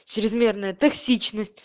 чрезмерная токсичность